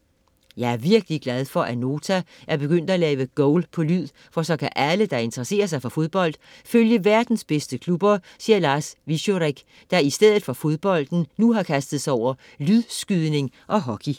- Jeg er virkelig glad for, at Nota er begyndt at lave Goal på lyd, for så kan alle, der interesserer sig for fodbold, følge verdens bedste klubber, siger Lars Wieczorek, der i stedet for fodbolden nu har kastet sig over lydskydning og hockey.